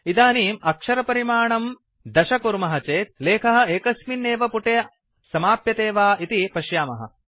इदानीम् अक्षरपरिमाणं दश कुर्मः चेत् लेखः एकस्मिन् एव पुटे समाप्यते वा इति पश्यामः